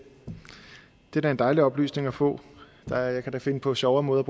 er da en dejlig oplysning at få jeg kan da finde på sjovere måder